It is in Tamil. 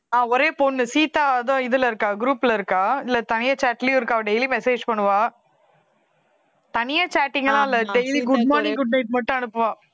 ஆஹ் ஒரே பொண்ணு சீதா ஏதோ இதுல இருக்கா group ல இருக்கா இல்லை தனியா chat லயும் இருக்கா daily message பண்ணுவா தனியா chatting எல்லாம் இல்லை daily good morning good night மட்டும் அனுப்புவா